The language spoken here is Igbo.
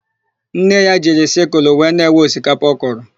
Nne ya jiri sịkụlụ wee na-ewe osikapa ọ kụrụ.